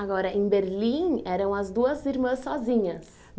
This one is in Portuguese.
Agora, em Berlim, eram as duas irmãs sozinhas?